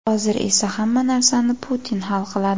Hozir esa hamma narsani Putin hal qiladi.